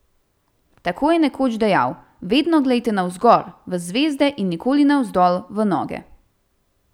Tako je nekoč dejal: "Vedno glejte navzgor, v zvezde in nikoli ne navzdol, v noge.